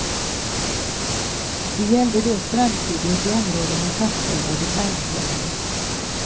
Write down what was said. Det gällde då strandskyddet i områden med fastställda detaljplaner.